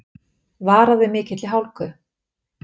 Varað við mikilli hálku